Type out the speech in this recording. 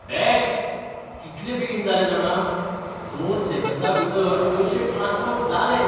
Best. कितले बेगीन जालें जाणा, दोन सेकंदां भितर पयशे ट्रांस्फर जालें.